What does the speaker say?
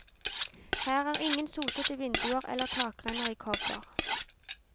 Her er ingen sotede vinduer eller takrenner i kobber.